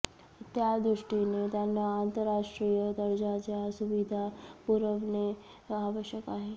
त्या दृष्टीने त्यांना आंतरराष्ट्रीय दर्जाच्या सुविधा पुरवणे आवश्यक आहे